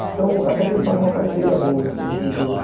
Então, até que eles fazem uma parceria boa, assim, entre os dois.